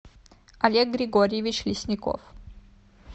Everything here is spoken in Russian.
олег григорьевич лесников